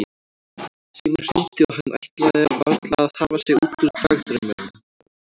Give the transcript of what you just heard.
Síminn hringdi og hann ætlaði varla að hafa sig út úr dagdraumunum.